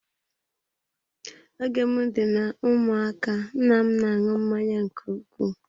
Oge m dị na ụmụaka nna m na-aṅụ mmanya nke ukwuu.